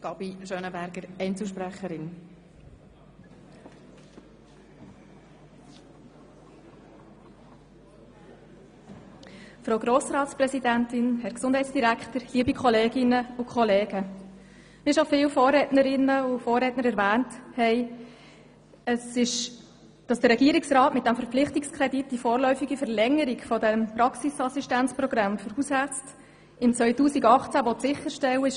Wie schon viele Vorrednerinnen und Vorredner erwähnt haben, ist es gut, dass der Regierungsrat mit diesem Verpflichtungskredit die vorläufige Verlängerung des Praxisassistenzprogramms für Hausärzte sicherstellen will.